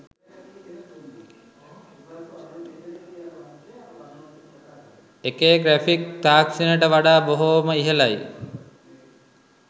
එකේ ග්‍රැෆික් තාක්ෂණයට වඩා බොහෝම ඉහළයි.